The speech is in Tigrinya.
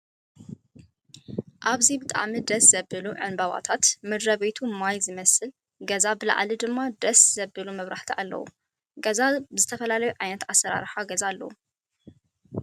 ኣብዚ ብጣዕሚ ደስ ዝብሉ ዕንበባት ምድረ-ቤቱ ማይ ዝመስል ገዛ ብላዕሊ ድማ ደስ ዝብሉ መብራህቲ ኣለው። ገዛ ዝተፈላለዩ ዓይነታት ኣሰራርሓ ገዛ ኣለው።